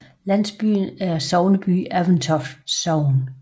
Landsbyen er sogneby i Aventoft Sogn